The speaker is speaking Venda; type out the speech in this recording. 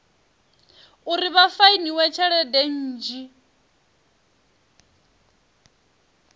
uri vha fainiwe tshelede nnzhi